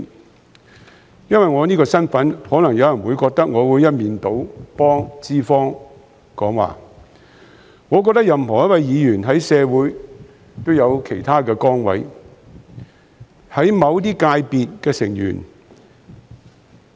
有人可能因為我的身份而認為我會一面倒替資方說話，但我認為任何議員在社會上也有其他崗位，是某些界別的成員。